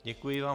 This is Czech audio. Děkuji vám.